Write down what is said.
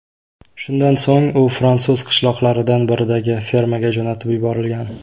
Shundan so‘ng u fransuz qishloqlaridan biridagi fermaga jo‘natib yuborilgan.